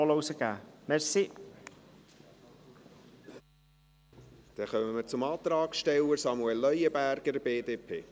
Damit kommen wir zum Antragsteller, Samuel Leuenberger, BDP.